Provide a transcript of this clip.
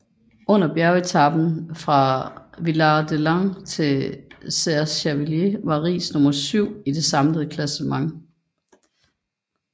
Efter bjergetapen fra Villard De Lans til Serre Chevalier var Riis nummer syv i det samlede klassement